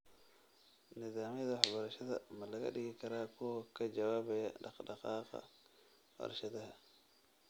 Nidaamyada waxbarashada ma laga dhigi karaa kuwo ka jawaabaya dhaqdhaqaaqa warshadaha?